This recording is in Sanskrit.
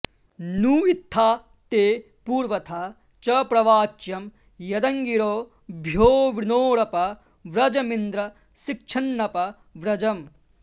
नू इ॒त्था ते॑ पू॒र्वथा॑ च प्र॒वाच्यं॒ यदङ्गि॑रो॒भ्योऽवृ॑णो॒रप॑ व्र॒जमिन्द्र॒ शिक्ष॒न्नप॑ व्र॒जम्